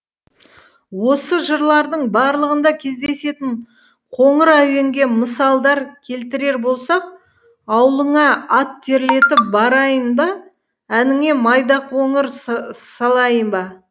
осы жырлардың барлығында кездесетін қоңыр әуенге мысалдар келтірер болсақ ауылыңа ат терлетіп барайын ба әніңе майдақоңыр салайын ба